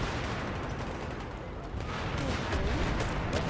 Holtålen